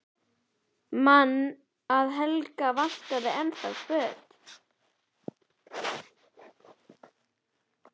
Man að Helga vantar ennþá föt.